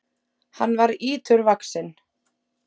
Hann var íturvaxinn.